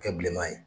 Kɛ bilenman ye